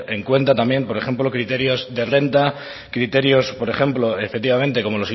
en cuenta también por ejemplo criterios de renta criterios por ejemplo efectivamente como